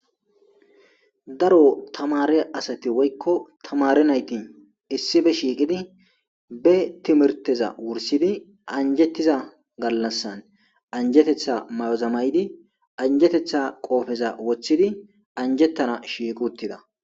Daro tamare asati woykko tamare naytin issife shiiqidi be timirteza wursidi anjettiza gallassan anjetetha may'ozamaydi anjetetha qoofeza woththidi anjettana shiiqi uttida.